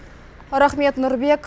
рахмет нұрбек